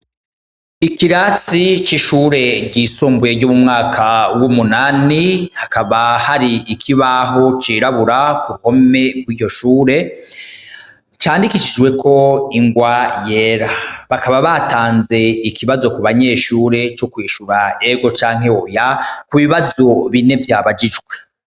ikirasi c'ishure ryisumbuye ry'umwaka w'umunani hakaba hari ikibaho cirabura kuruhome kwiryo shure candikisijweko ingwa yera bakaba batanze ikibazo ku banyeshure co kw'ishura yego canke oya ku bibazo bine vyabagijwe